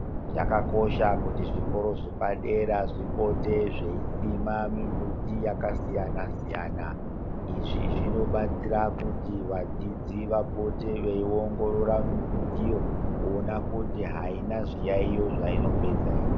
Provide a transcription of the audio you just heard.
Zvakakosha kuti zvikora zvepadera zvipote zveisima mimbiti yakasiyana-siyana. Izvi zvinobatsira kuti vadzidzi vapote veiongorora mimbitiyo kuona kuti haina zviyaiyo zvainopedza ere.